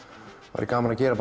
væri gaman að gera